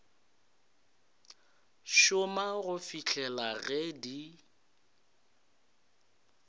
šoma go fihlela ge di